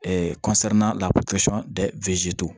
la